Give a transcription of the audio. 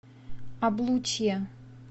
облучье